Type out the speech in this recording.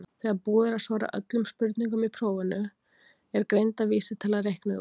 Þegar búið er að svara öllum spurningum í prófinu er greindarvísitala reiknuð út.